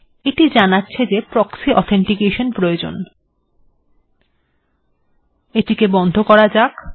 এটিকে বন্ধ করা যাক